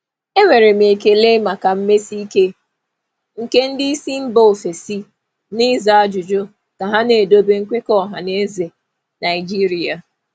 Ana m ekele nkwusi ike ndị oga si mba ọzọ na ịza ajụjụ ka m na-anọgide na nkwekọ mmekọrịta Naịjirịa.